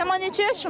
Səma neçə yaşın var?